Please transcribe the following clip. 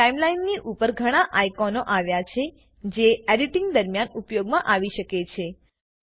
અહીં ટાઈમલાઈનની ઉપર ઘણા આઇકોનો આવ્યા છે જે એડીટીંગ દરમ્યાન ઉપયોગમાં આવી શકે છે